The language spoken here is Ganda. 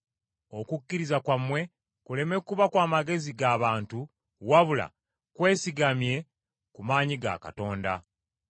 okukkiriza kwammwe kuleme kuba kw’amagezi ga bantu wabula kwesigame ku maanyi ga Katonda.